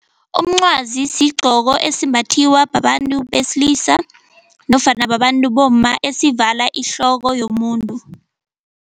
Umncwazi sigqoko esimbathiwa babantu besilisa nofana babantu bomma esivala ihloko yomuntu.